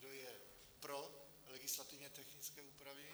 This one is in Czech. Kdo je pro legislativně technické úpravy?